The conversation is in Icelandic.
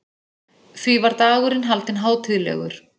Því var dagurinn haldinn hátíðlegur.